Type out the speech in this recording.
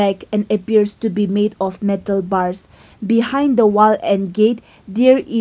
like an appears to be made of metal bars behind the wall and gate there is --